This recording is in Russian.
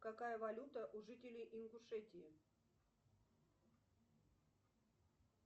какая валюта у жителей ингушетии